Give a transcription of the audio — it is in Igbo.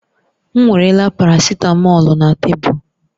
M weerela paracitamọ̀lu na tebụl